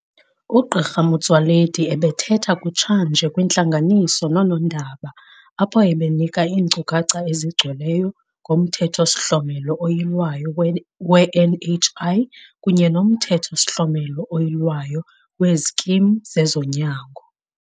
UGq Motsoaledi ebethetha kutshanje kwintlanganiso nonoondaba apho ebenika iinkcukacha ezigcweleyo ngoMthetho-sihlomelo oYilwayo we-NHI kunye noMthetho-sihlomelo oYilwayo weziKimu zezoNyango.